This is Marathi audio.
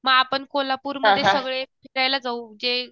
म आपण कोल्हापूरमध्ये सगळे फिरायला जाऊ जे